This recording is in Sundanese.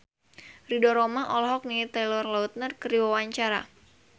Ridho Roma olohok ningali Taylor Lautner keur diwawancara